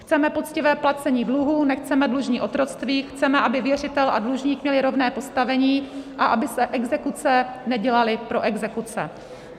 Chceme poctivé placení dluhů, nechceme dlužní otroctví, chceme, aby věřitel a dlužník měli rovné postavení a aby se exekuce nedělaly pro exekuce.